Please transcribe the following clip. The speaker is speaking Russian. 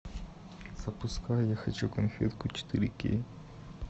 запускай я хочу конфетку четыре кей